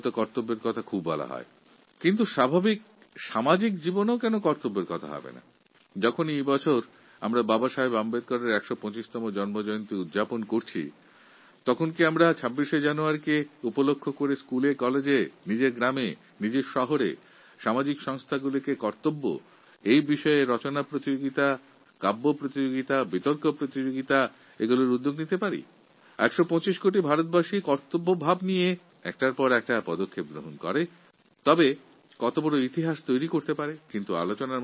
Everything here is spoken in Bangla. ভোট দেওয়ার সময় কর্তব্যের কথা তো অনেক হয় কিন্তু দৈনন্দিন জীবনেও কর্তব্যের কথা কেন হবে না এই বছর আমরা যখন বাবাসাহেব আম্বেদকরের ১২৫তম জন্মজয়ন্তী পালন করছি তখন ২৬শে জানুয়ারি দিনটিকে সামনে রেখে স্কুল কলেজ গ্রাম শহর ও বিভিন্ন সামাজিক সংগঠনগুলিতে আমাদের প্রাথমিক কর্তব্য বিষয়ে রচনা বিতর্ক ও কবিতার প্রতিযোগিতার আয়োজন কি করতে পারি না যদি ১২৫ কোটি ভারতবাসী কর্তব্যের প্রতি দায়বদ্ধভাবে এগিয়ে চলে তাহলে এক ঐতিহাসিক ঘটনার সূচনা হবে